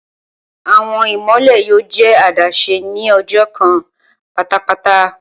Awọn imọlẹ yoo jẹ adaṣe ni ọjọ kan patapata.